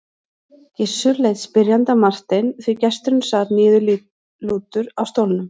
Gizur leit spyrjandi á Martein því gesturinn sat niðurlútur á stólnum.